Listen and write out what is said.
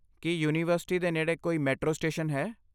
ਕੀ university ਦੇ ਨੇੜੇ ਕੋਈ ਮੈਟਰੋ ਸਟੇਸ਼ਨ ਹੈ?